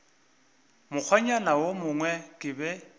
mokgwanyana wo mongwe ke be